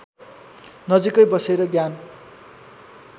नजिकै बसेर ज्ञान